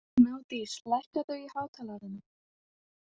Gnádís, lækkaðu í hátalaranum.